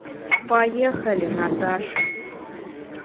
поехали наташа